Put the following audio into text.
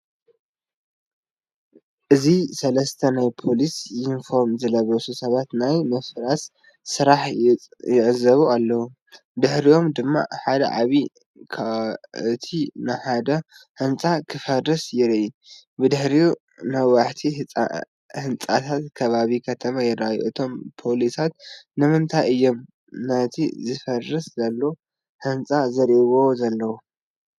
እዚ ሰለስተ ናይ ፖሊስ ዩኒፎርም ዝለበሱ ሰባት ናይ ምፍራስ ስራሕ ይዕዘቡ ኣለዉ። ብድሕሪኦም ድማ ሓደ ዓቢይ ኳዕቲ ንሓደ ህንጻ ክፈርስ ይርአ። ብድሕሪት ነዋሕቲ ህንጻታትን ከባቢ ከተማን ይርአ። እቶም ፖሊሳት ንምንታይ እዮም ነቲ ዝፈርስ ዘሎ ህንጻ ዝጥምቱ ዘለዉ?